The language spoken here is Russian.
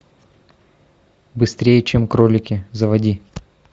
быстрее чем кролики заводи